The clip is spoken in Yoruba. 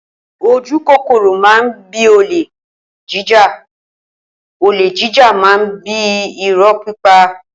Ojúkọkọro mà bí ólẹ̀ jíjá ólè jijá mà ń bi ìrọ pípà.